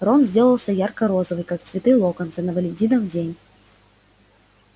рон сделался ярко-розовый как цветы локонса на валентинов день